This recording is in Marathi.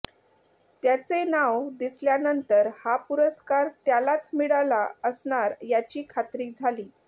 त्याचे नाव दिसल्यानंतर हा पुरस्कार त्यालाच मिळाला असणार याची खात्री झाली